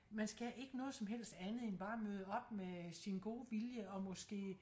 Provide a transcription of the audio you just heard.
Man skal ikke noget som helst andet end bare at møde op med sin gode vilje og måske